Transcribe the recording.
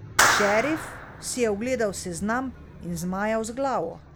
Šerif si je ogledal seznam in zmajal z glavo.